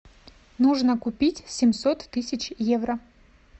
нужно купить семьсот тысяч евро